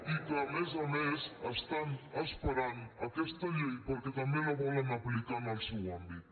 i que a més a més estan esperant aquesta llei perquè també la volen aplicar en el seu àmbit